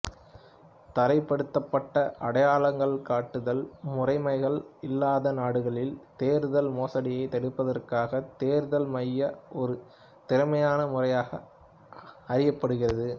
தரப்படுத்தப்பட்ட அடையாளங்காட்டுதல் முறைமைகள் இல்லாத நாடுகளில் தேர்தல் மோசடியை தடுப்பதற்காக தேர்தல் மை ஒரு திறமான முறையாக அறியப்படுகிறது